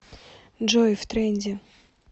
джой в тренде